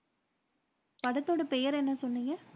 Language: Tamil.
படத்தோட பெயர் என்ன சொன்னீங்க?